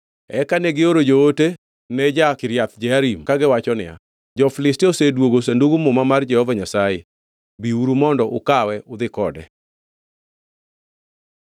Eka negioro joote ne jo-Kiriath Jearim, kagiwacho niya, “Jo-Filistia osedwogo Sandug Muma mar Jehova Nyasaye. Biuru mondo ukawe udhi kode.”